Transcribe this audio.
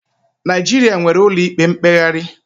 Naịjirịa nwere ụlọikpe mkpegharị.